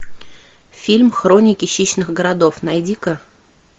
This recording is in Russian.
фильм хроники хищных городов найди ка